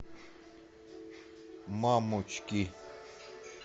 мамочки